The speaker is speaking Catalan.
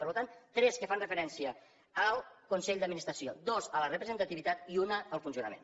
per tant tres que fan referència al consell d’administració dues a la representativitat i una al funcionament